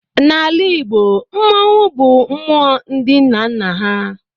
Na Ala Igbo, Mmannwụ bụ mmụọ ndị nna nna ha